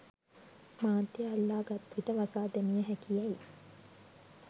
මාධ්‍ය අල්ලා ගත් විට වසා දැමිය හැකි යැයි